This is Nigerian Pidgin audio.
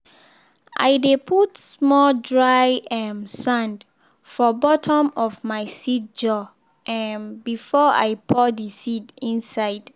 i dey put small dry um sand for bottom of my seed jar um before i pour the seed inside.